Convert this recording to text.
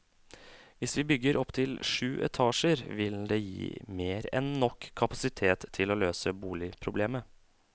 Hvis vi bygger opptil syv etasjer, vil det gi mer enn nok kapasitet til å løse boligproblemet.